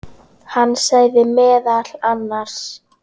Hann sagði meðal annars